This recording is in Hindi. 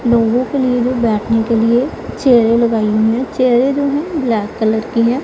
लोगों के लिए जो बैठने के लिए चेयरे लगाई हुई हैं चेयरे जो हैं ब्लैक कलर की हैं।